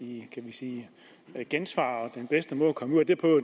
i kan vi sige gensvar og den bedste måde at komme ud af